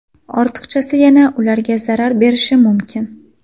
Ortiqchasi yana ularga zarar berishi mumkin.